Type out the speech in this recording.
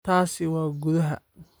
Taasi waa gudaha